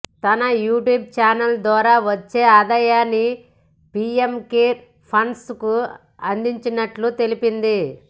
తన YouTube channel ద్వారా వచ్చే ఆదాయాన్ని పీఎం కేర్ ఫండ్స్ కు అందించినట్లు తెలిపింది